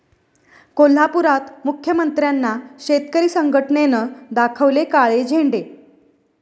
कोल्हापुरात मुख्यमंत्र्यांना शेतकरी संघटनेनं दाखवले काळे झेंडे